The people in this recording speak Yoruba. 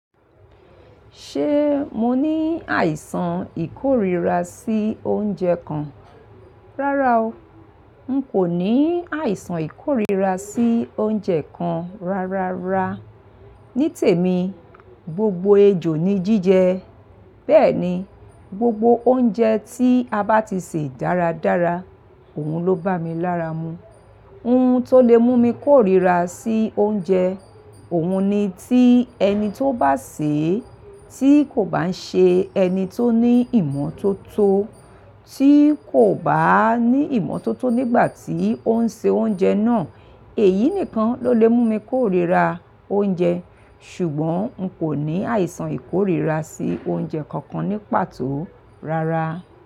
Ṣé mo ní àìsàn ìkórira sí oúnjẹ kan? Rárá o. N kò ní àìsàn ìkórira sí oúnjẹ kan rárára. Ní tèmi, gbogbo ejò ni jíjẹ. Bẹ́ẹ̀ ni, gbogbo oúnjẹ tí a bá ti sè dáradára, òun ló bá mi lára mu. Ohun tó lè mú mi kórira sí oúnjẹ, òun ni tí ẹni tó bá sè é, tí kò bá nṣe ẹni tó ní ìmọ́tótó, tí kò bá ní ìmọ́tótó nígbà tí ó ń ṣe oúnjẹ náà, èyí nìkan ló lè mú mi kórira oúnjẹ. Ṣùgbọ́n n kò ní àìsàn ìkórira sí oúnjẹ kankan ní pàtó, rárá.